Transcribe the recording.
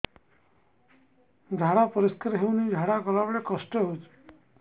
ଝାଡା ପରିସ୍କାର ହେଉନି ଝାଡ଼ା ଗଲା ବେଳେ କଷ୍ଟ ହେଉଚି